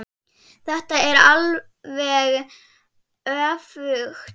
Þetta er alveg öfugt.